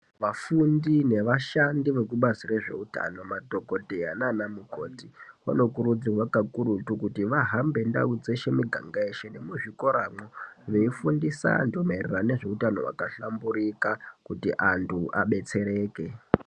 Vafundi nevashandi vekubazi rezvehutano, madhokodheya nanamukoti, vanokurudzirwa kakurutu kuti vahambe ndawu dzeshe miganga yeshe nemuzvikora , veyifundisa mayererano ngezvehutano wakahlamburika kuti antu abetsereke.